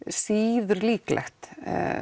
síður líklegt